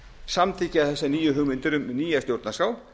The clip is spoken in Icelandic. samþykkja þessar nýju hugmyndir um nýja stjórnarskrá